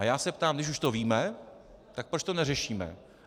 A já se ptám, když už to víme, tak proč to neřešíme.